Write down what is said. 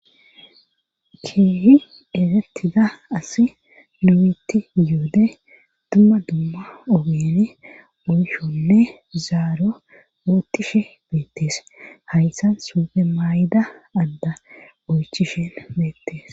keehi egettida asi lumitti yoode dumma dumma ogeni oyshonne zaaro ootishe beettees hayssan suufe maay7da adda oychishen beettes